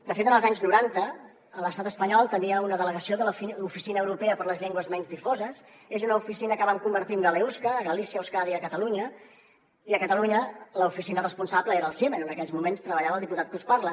de fet en els anys noranta l’estat espanyol tenia una delegació de la oficina europea per a les llengües menys difoses és una oficina que van convertir en galeusca galícia euskadi i catalunya i a catalunya l’oficina responsable era el ciemen on en aquells moments treballava el diputat que us parla